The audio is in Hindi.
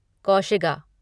कौशिगा